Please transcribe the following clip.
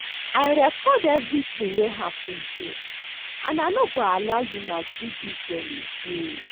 I record everything wey happen here and I no go allow you maltreat dis girl again